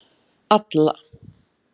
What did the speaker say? Alla